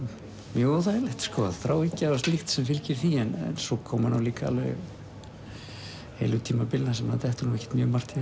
mjög óþægilegt sko þráhyggja og slíkt sem fylgir því en svo koma nú líka alveg heilu tímabilin þar sem manni dettur ekkert mjög margt í